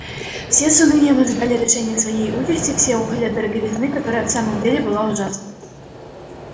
все с унынием ожидали решения своей участи все охали от дороговизны которая в самом деле была ужасна